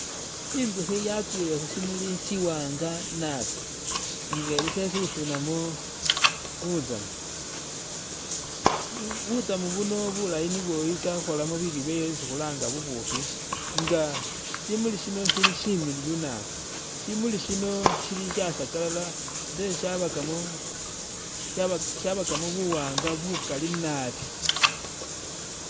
I'nzukhi yakwile khusimuli siwaanga naabi nga eli khesusunamo butsamu butsamu buno bulayi nibwo i'tsa khukhoolamo bilyo byayo isi khulanga bubukhi nga simuli shino shili shimiliyu naabi shimuli sino shili sha sakalala ate shabakamo sha shabakamo buwaanga bukali naabi